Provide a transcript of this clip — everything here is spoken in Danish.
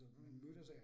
Mh